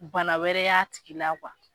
Bana wɛrɛ y'a tigi la